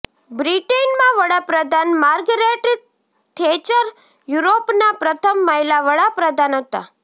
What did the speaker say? બ્રિટનનાં વડાંપ્રધાન Margaret Thatcher યુરોપનાં પ્રથમ મહિલા વડાંપ્રધાન હતાં